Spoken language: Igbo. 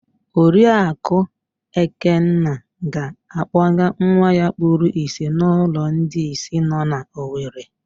Oriaku Ekenna ga-akpọga nwa ya kpuru ìsì n'ụlọ ndị ìsì nọ na Owere.